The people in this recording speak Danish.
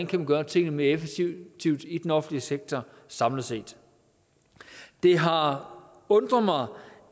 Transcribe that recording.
kan gøre tingene mere effektivt i den offentlige sektor samlet set det har undret mig